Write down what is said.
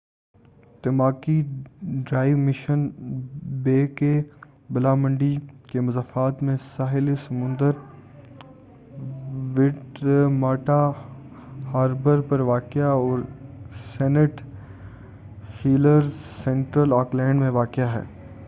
Tamaki Drive Mission Bay کے بالامنڈی کے مضافات میں ساحل سمندر ویٹماٹا ہاربر پر واقع ہے اور سینٹ ہیلیرز سنٹرل آکلینڈ میں واقع ہے